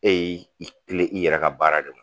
E y'i kilen i yɛrɛ ka baara de ma